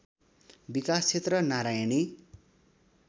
विकास क्षेत्र नारायणी